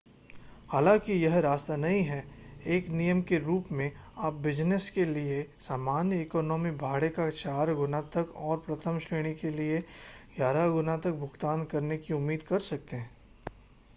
हालांकि यह सस्ता नहीं है एक नियम के रूप में आप बिज़नस के लिए सामान्य इकॉनमी भाड़े का चार गुना तक और प्रथम श्रेणी के लिए ग्यारह गुना तक भुगतान करने की उम्मीद कर सकते हैं